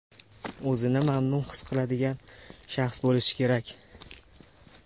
o‘zini mamnun his qiladigan shaxs bo‘lishi kerak!.